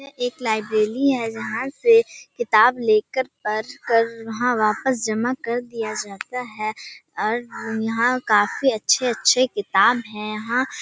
एक लाइब्रेरी है जहाँ से किताब लेकर पढ़ कर वहाँ वापस जमा कर दिया जाता है यहाँ काफी अच्छे अच्छे किताब है|